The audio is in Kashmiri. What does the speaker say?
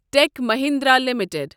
ٹٮ۪ک مَہیندرا لِمِٹٕڈ